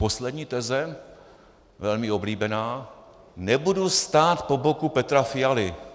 Poslední teze, velmi oblíbená: Nebudu stát po boku Petra Fialy.